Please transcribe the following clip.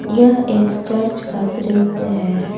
यह एक चर्च का दृश्य है।